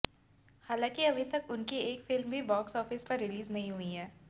हालांकि अभी तक उनकी एक फिल्म भी बाक्स आफिस पर रीलिज नहीं हुई है